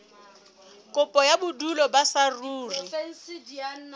kopo ya bodulo ba saruri